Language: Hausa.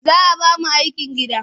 Za a ba mu aikin gida?